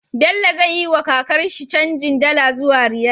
Bello zai yi wa kakar shi canjin dala zuwa riyal